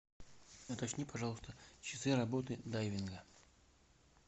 уточни пожалуйста часы работы дайвинга